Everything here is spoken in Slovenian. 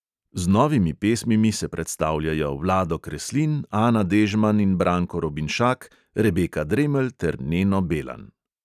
Z novimi pesmimi se predstavljajo: vlado kreslin, ana dežman in branko robinšak, rebeka dremelj ter neno belan.